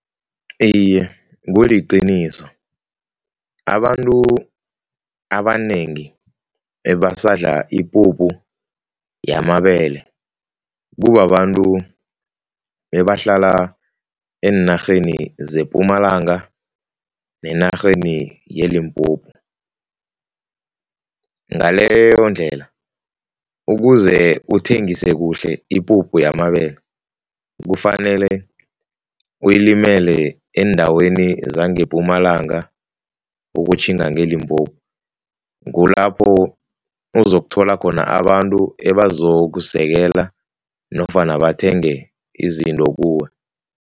Iye, kuliqiniso, abantu abanengi ebasadla ipuphu yamabele kubabantu ebahlala eenarheni zePumalanga nenarheni yeLimpopo. Ngaleyondlela ukuze uthengise kuhle ipuphu yamabele kufanele ulimele eendaweni zangePumalanga ukutjhinga ngeLimpopo, kulapho uzokuthola khona abantu ebazokusekela nofana bathenge izinto kuwe.